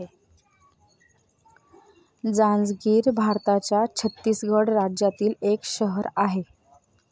जांजगीर भारताच्या छत्तीसगड राज्यातील एक शहर अहे.